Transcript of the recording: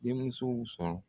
Denmusow sɔrɔ